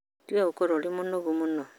Tiga gũkorũo ũrĩ mũkoroku mũno